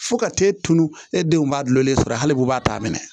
Fo ka taa e tunun e denw b'a dulolen sɔrɔ hali b'u b'a ta minɛ